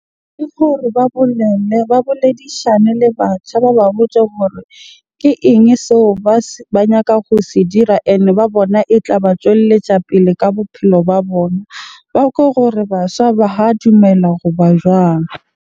Ke gore ba bolelle, ba boledishane le batjha. Ba ba botse gore ke eng seo ba se, ba nyaka ho se dira. Ene ba bona e tla ba tjwelletja pele ka bophelo ba bona. Ba kwe gore baswa ba ha dumela goba jwang?